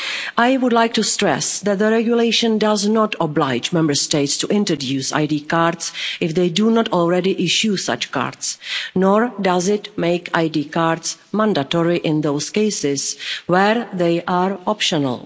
I would like to stress that the regulation does not oblige Member States to introduce ID cards if they do not already issue such cards, nor does it make ID cards mandatory in those cases where they are optional.